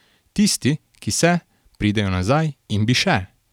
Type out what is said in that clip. Tisti, ki se, pridejo nazaj in bi še.